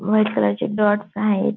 White colour चे dots आहेत.